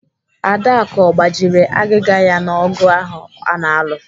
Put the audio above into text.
Adaku ọ gbajiri agịga ya n'ogụ ahụ ọ na-alụ?